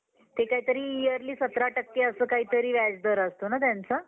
खरा सेवाभाव असेल तर, या बाह्य गोष्टी आपोआपच येतात. त्या कृत्रिम पणे कराव्या लागतात. फ्रेंच तत्त्वज्ञ ब्लेझ